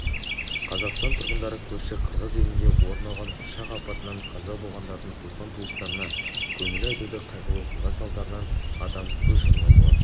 қазақстан тұрғындары көрші қырғыз елінде орын алған ұшақ апатынан қаза болғандардың туған-туыстарына көңіл айтуда қайғылы оқиға салдарынан адам көз жұмған болатын